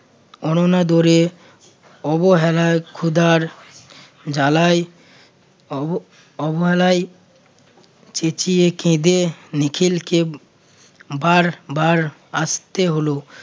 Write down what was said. অননাদরে অবহেলার ক্ষুধার জ্বালায় অব~ অবহেলায় চেচিয়ে কেঁদে নিখিলকে বারবার আসতে হলো।